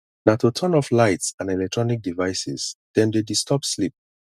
na to turn off lights and eletronic devices dem dey disturb sleep